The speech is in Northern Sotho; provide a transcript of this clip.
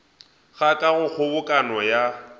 ga ka go kgobokano ya